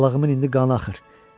Balığımın indi qanı axır.